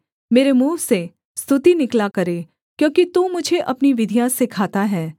मेरे मुँह से स्तुति निकला करे क्योंकि तू मुझे अपनी विधियाँ सिखाता है